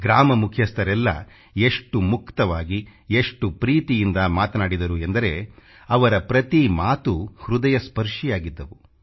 ಗ್ರಾಮ ಮುಖ್ಯಸ್ಥರೆಲ್ಲ ಎಷ್ಟು ಮುಕ್ತವಾಗಿ ಎಷ್ಟು ಪ್ರೀತಿಯಿಂದ ಮಾತನಾಡಿದರು ಎಂದರೆ ಅವರ ಪ್ರತಿ ಮಾತೂ ಹೃದಯಸ್ಪರ್ಶಿಯಾಗಿದ್ದವು